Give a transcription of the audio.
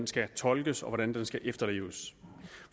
skal fortolkes og hvordan den skal efterleves og